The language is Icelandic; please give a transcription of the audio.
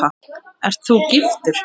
Ert þú giftur?